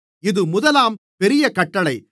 இது முதலாம் பெரிய கட்டளை